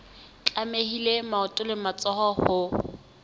tlamehile maoto le matsoho ho